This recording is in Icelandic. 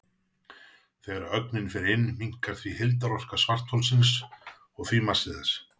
Þegar ögnin fer inn minnkar því heildarorka svartholsins og því massi þess.